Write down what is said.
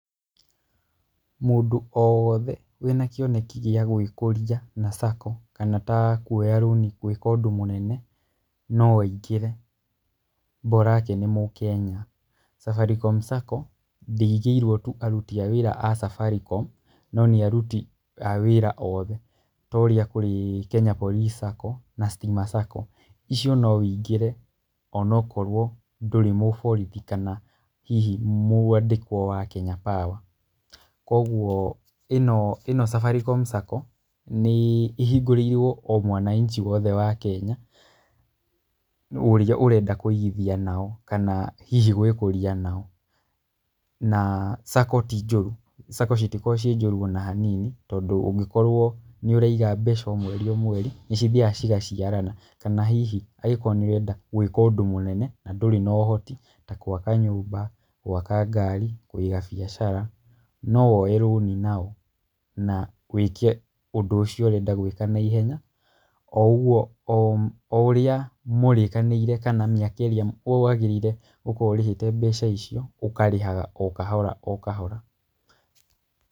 Mũndũ o wothe wĩna kĩoneki gĩa gwĩkũria na sacco kana ta kuoya rũni gwĩka ũndũ mũnene no aingĩre mborake nĩ Mũkenya. Safaricom Sacco ndĩigĩirwo tu aruti a wĩra a Safaricom, no nĩ aruti a wĩra othe, ta ũrĩa kũrĩ Kenya Police Sacco na Stima Sacco, icio no wĩingĩre onakorwo hihi ndũrĩ mũborithi kana hihi mwandĩkwo wa Kenya Power. Koguo ĩno ĩno Safaricom Sacco nĩ ĩhingũrĩirwo o mwanaichi wothe wa Kenya, ũrĩa ũrenda kũigithia nao kana hihi gwĩkũria nao. Na sacco ti njũru, saco citikoragwo ciĩ njũru ona hanini, tondũ ũngĩkorwo nĩũraiga mbeca o mweri o mweri nĩcithiaga cigaciarana, kana hihi angĩkorwo nĩũrenda gwĩka ũndũ mũnene na ndũrĩ na ũhoti ta gwaka nyũmba, gwaka ngari, kũiga biacara no woe rũni nao, na wĩke ũndũ ũcio ũrenda gwĩka naihenya, o ũguo o ũrĩa mũrĩkanĩire kana mĩaka ĩrĩa wagĩrĩire gũkorwo ũrĩhĩte mbeca icio ũkarĩhaga o kahora o kahora.